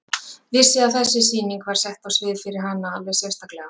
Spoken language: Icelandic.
Vissi að þessi sýning var sett á svið fyrir hana alveg sérstaklega.